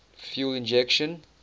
fuel injection